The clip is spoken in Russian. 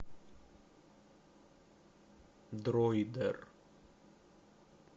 дройдер